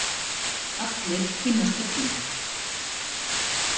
Allir kynnast öllum.